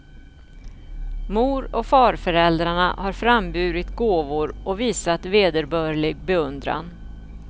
Mor och farföräldrarna har framburit gåvor och visat vederbörlig beundran.